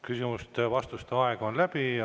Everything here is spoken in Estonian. Küsimuste ja vastuste aeg on läbi.